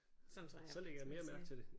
Sådan tror jeg faktisk man siger